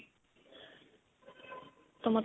ਤਾਂ.